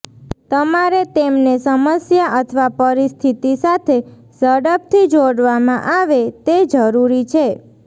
તમારે તેમને સમસ્યા અથવા પરિસ્થિતિ સાથે ઝડપથી જોડવામાં આવે તે જરૂરી છે